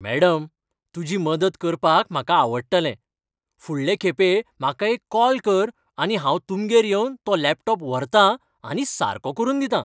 Madam, तुजी मदत करपाक म्हाका आवडटलें. फुडलें खेपें म्हाका एक कॉल कर आनी हांव तुमगेर येवन तो लॅपटॉप व्हरतां आनी सारको करून दितां